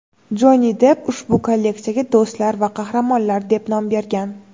Jonni Depp ushbu kolleksiyaga "Do‘stlar va qahramonlar" deb nom bergan.